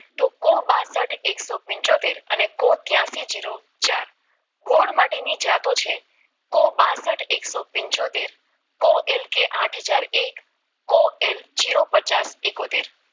તોકો બાસઠ એક્સઓતેસથ અને તયસી જેરો ચાર ગોળ માટેની જાતો છે કો બાસઠ કો એકસો પંચોતેર કો એલ કે આઠ હજાર એક કો એલ જેરો પચાસ એકોતેર